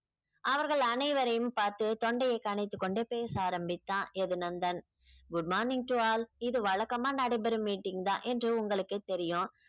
அவர்கள் அனைவரையும் பார்த்து தொண்டையை கனைத்துக் கொண்டே பேச ஆரம்பித்தான் எதிர் Nandan good morning to all இது வழக்கமா நடைபெறும் meeting தான் என்று உங்களுக்கே தெரியும்